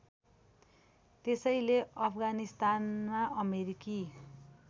त्यसैले अफगानिस्तानमा अमेरिकी